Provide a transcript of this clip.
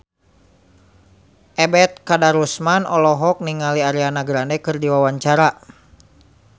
Ebet Kadarusman olohok ningali Ariana Grande keur diwawancara